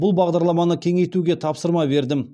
бұл бағдарламаны кеңейтуге тапсырма бердім